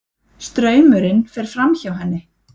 Straumurinn fer fram- hjá henni.